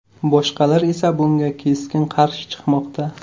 Boshqalar esa bunga keskin qarshi chiqmoqda.